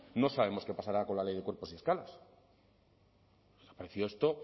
no sabemos qué pasará con la ley de cuerpos y escalas me ha parecido esto